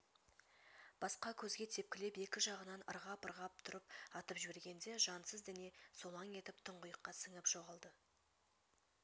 басқа көзге тепкілеп екі жағынан ырғап-ырғап тұрып атып жібергенде жансыз дене солаң етіп тұңғиыққа сіңіп жоғалды